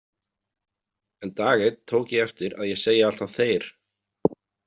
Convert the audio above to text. En dag einn tók ég eftir að ég segi alltaf þeir.